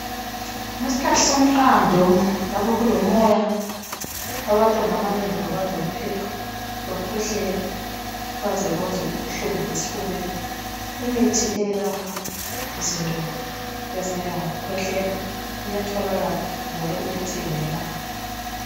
Leskhathi somqando, lapho kulomoya. Abantwana abanengi babanjwa luphepho, baze bezwe ubuhlungu esifubeni. imithi elapha izinto ezinje ngokukwehlela iyatholakala njalo iyathengeka.